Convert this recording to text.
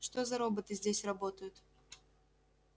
что за роботы здесь работают